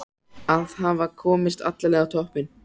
Að hafa komist alla leið á toppinn!